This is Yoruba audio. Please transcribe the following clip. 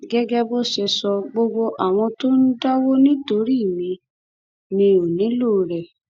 gẹgẹ bó ṣe sọ gbogbo àwọn tó ń dáwó nítorí mi mi ò nílò rẹ